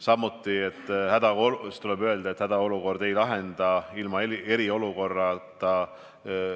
Samuti tuleb öelda, et hädaolukorda ei lahenda ilma eriolukorrata.